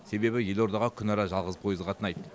себебі елордаға күнара жалғыз пойыз қатынайды